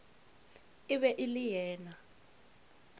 e be e le yena